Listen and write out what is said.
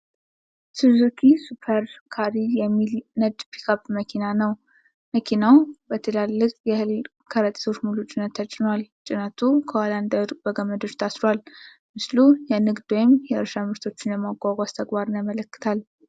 ሱዙኪ ሱፐር ካሪ የሚል ነጭ ፒክአፕ መኪና ነው። መኪናው በትላልቅ የእህል ከረጢቶች ሙሉ ጭነት ተጭኗል። ጭነቱ ከኋላ እንዳይወድቅ በገመዶች ታስሯል። ምስሉ የንግድ ወይም የእርሻ ምርቶችን የማጓጓዝ ተግባርን ያመለክታል።